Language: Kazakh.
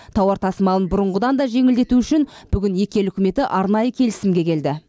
тауар тасымалын бұрынғыдан да жеңілдету үшін бүгін екі ел үкіметі арнайы келісімге келді